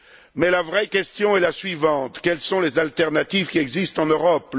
Mais la vraie question est la suivante quelles sont les alternatives qui existent en Europe?